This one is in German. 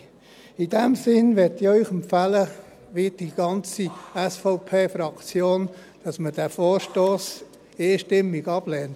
In diesem Sinne möchte ich Ihnen empfehlen, wie die ganze SVP-Fraktion, dass man diesen Vorstoss einstimmig ablehnt.